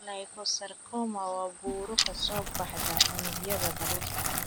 Liposarcoma waa buro ka soo baxda unugyada baruurta.